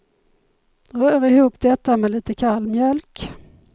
Rör ihop detta med lite kall mjölk.